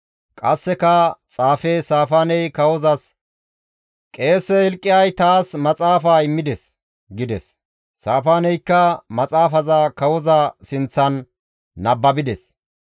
Qasseka xaafe Saafaaney kawozas, «Qeese Hilqiyaasi taas maxaafa immides» gides; Saafaaneykka maxaafaza kawoza sinththan nababides.